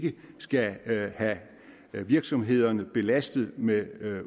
vi ikke skal have virksomhederne belastet med